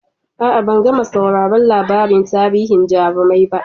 A'a, ban gama sauraron labarin tarihin jarumai ba.